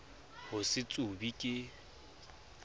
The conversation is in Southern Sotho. ho se tsube ke e